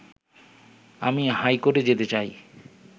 আমি হাইকোর্টে যেতে চাই